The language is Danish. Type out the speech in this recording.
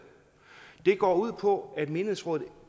det går ud på at menighedsrådet